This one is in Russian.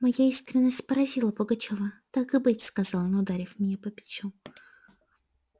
моя искренность поразила пугачёва так и быть сказал он ударив меня по плечу